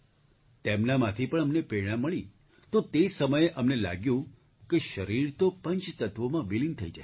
તેમનામાંથી પણ અમને પ્રેરણા મળી તો તે સમયે અમને લાગ્યું કે શરીર તો પંચ તત્ત્વોમાં વિલીન થઈ જશે